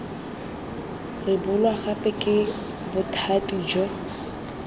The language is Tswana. rebolwa gape ke bothati jo